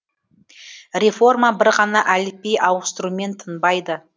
реформа бір ғана әліпби ауыстырумен тынбайды